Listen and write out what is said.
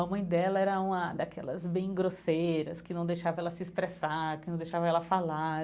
A mãe dela era uma daquelas bem grosseiras, que não deixava ela se expressar, que não deixava ela falar.